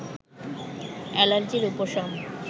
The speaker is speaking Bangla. অ্যালার্জির উপশম